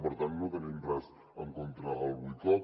per tant no tenim res en contra del boicot